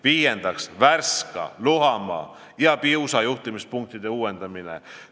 Viiendaks, Värska, Luhamaa ja Piusa juhtimispunktide uuendamine.